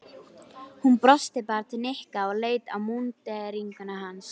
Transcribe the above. Hún brosti bara til Nikka og leit á múnderinguna hans.